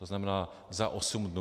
To znamená za osm dnů.